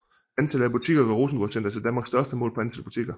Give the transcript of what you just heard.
Antallet af butikker gør Rosengårdcentret til Danmarks største målt på antal butikker